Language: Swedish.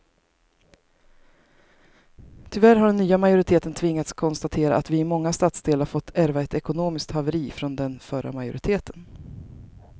Tyvärr har den nya majoriteten tvingats konstatera att vi i många stadsdelar fått ärva ett ekonomiskt haveri från den förra majoriteten.